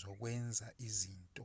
zokwenza izinto